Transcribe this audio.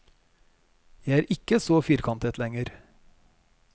Jeg er ikke så firkantet lenger.